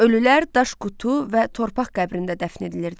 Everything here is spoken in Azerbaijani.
Ölülər daş qutu və torpaq qəbrində dəfn edilirdi.